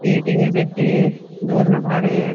एक टिंगर बैठो है दो जणा बारे है।